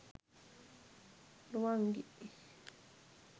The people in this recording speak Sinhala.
ruwangi